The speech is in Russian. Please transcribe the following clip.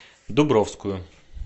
дубровскую